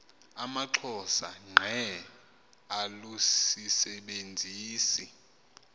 amaxhosa ngqe alusisebenzisi